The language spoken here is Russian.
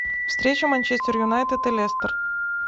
встреча манчестер юнайтед и лестер